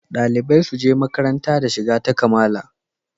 Dalibai suje makaranta da shiga ta kamala